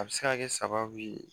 A bɛ se ka kɛ sababu ye